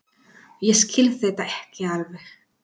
Ég skil þetta ekki alveg.